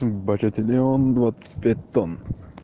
большой стадион двадцать пять тонн